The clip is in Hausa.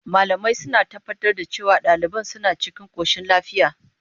Malamai suna tabbatar da cewa daliban suna cikin koshin lafiya.